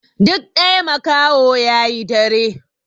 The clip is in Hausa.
Duk ɗaya makaho yayi dare